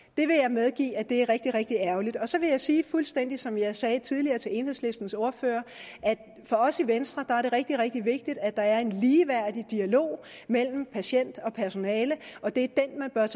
medgive at det er rigtig rigtig ærgerligt så vil jeg sige fuldstændig som jeg sagde tidligere til enhedslistens ordfører at det for os i venstre er rigtig rigtig vigtigt at der er en ligeværdig dialog mellem patient og personale og det